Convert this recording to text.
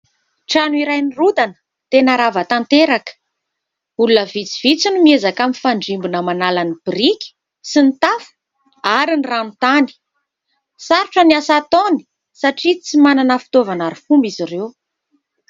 Trano iray nirodana tena rava tanteraka olona vitsivitsy no miezaka amin'ny fandrimbona manala ny boriky sy ny tafo ary ny ranotany sarotra ny asa ataony satria tsy manana fitoavana arofomba izy ireo